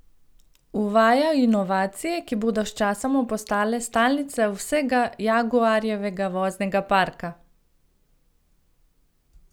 Uvaja inovacije, ki bodo sčasoma postale stalnica vsega Jaguarjevega voznega parka!